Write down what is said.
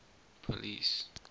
police